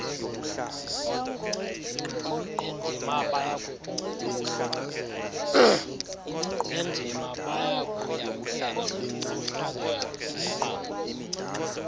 bendima bayakuyamkela ngokuhlanganyelana